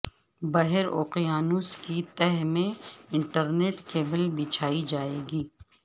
بحر اوقیانوس کی تہہ میں انٹرنیٹ کیبل بچھائی جائے گی